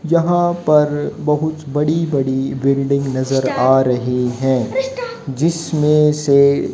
जहां पर बहुत बड़ी बड़ी बिल्डिंग नजर आ रही हैं जिसमें से--